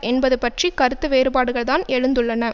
என்பது பற்றி கருத்து வேறுபாடுகள்தான் எழுந்துள்ளன